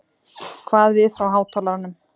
kvað við frá hátalaranum.